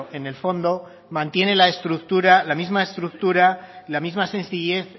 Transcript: en el fondo mantiene la estructura la misma estructura la misma sencillez